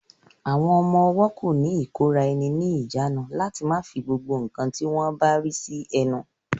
Àwọn ọmọ-ọwọ́ kò ní ìkóraẹni ní ìjánu láti má fi gbogbo ǹkan tí wọ́n bá rí sí ẹnu